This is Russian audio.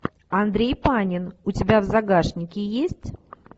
андрей панин у тебя в загашнике есть